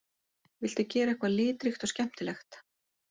Vildu gera eitthvað litríkt og skemmtilegt